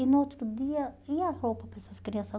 E no outro dia, e a roupa para essas crianças?